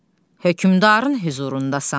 Hökmdarın hüzurundasan.